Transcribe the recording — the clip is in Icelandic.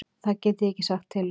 Það get ég ekki sagt til um.